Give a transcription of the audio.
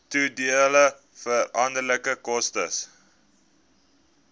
toedeelbare veranderlike koste